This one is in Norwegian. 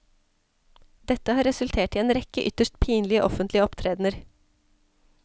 Dette har resultert i en rekke ytterst pinlige offentlige opptredener.